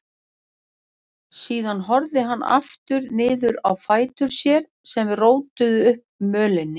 Síðan horfði hann aftur niður á fætur sér sem rótuðu upp mölinni.